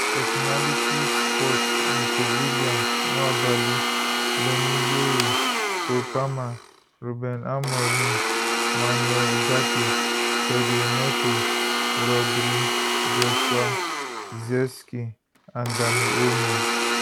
personalities sports nico williams nwabali leny yoro cole palmer ruben amorim manuel ugarte pedro neto rodri joshua zirkzee and dani olmo